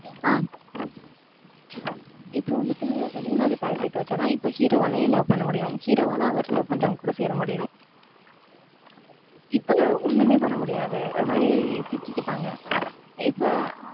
ஆஹ் இப்ப வந்துட்டு அந்த மூணாவது pair அ வச்சாதான் இப்ப hero வாலயும் love பண்ண முடியும். hero வால அவர love பண்றவங்க கூட சேர முடியும். இப்ப ஒண்ணுமே பண்ண முடியாது. ஒரு மாதிரி சிக்கிக்கிட்டாங்க. இப்ப,